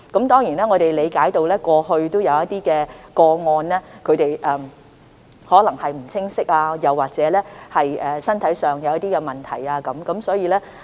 當然，我們理解過去有些人士可能不清楚有關安排，又或是身體出現一些問題。